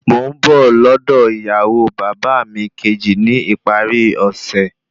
Mò ń bọ̀ lọ́dọ̀ ìyàwó bàbá mi kejì ní ìparí ọ̀sẹ̀